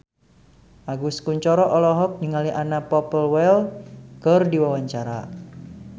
Agus Kuncoro olohok ningali Anna Popplewell keur diwawancara